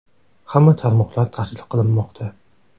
Hamma tarmoqlar tahlil qilinmoqda.